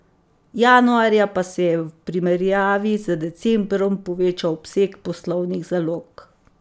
Januarja pa se je v primerjavi z decembrom povečal obseg poslovnih zalog.